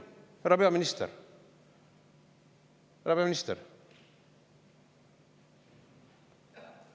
Härra peaminister!